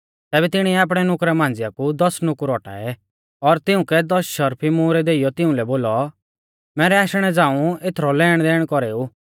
तैबै तिणीऐ आपणै नुकरा मांझ़िया कु दस नुकुर औटाऐ और तिउंकै दस शर्फी मुहरै देइयौ तिउंलै बोलौ मैरै आशणै झ़ांऊ एथरौ लेणदेण कौरेऊ